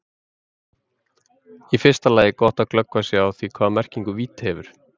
Í fyrsta lagi er gott að glöggva sig á því hvaða merkingu vídd hefur.